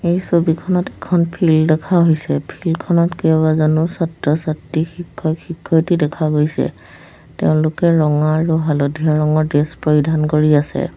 এই ছবিখনত এখন ফিল্ড দেখা হৈছে ফিল্ড খনত কেইবাজনো ছাত্ৰ-ছাত্ৰী শিক্ষক-শিক্ষয়িত্ৰী দেখা গৈছে তেওঁলোকে ৰঙা আৰু হালধীয়া ৰঙৰ ড্ৰেছ পৰিধান কৰি আছে।